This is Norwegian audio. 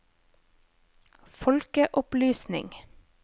folkeopplysning